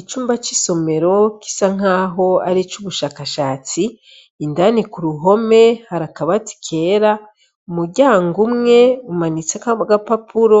Icumba c'isomero gisankaho aric'ubushakashatsi indani k'uruhome har'akabati kera umuryango umwe umaniteseko agapapuro.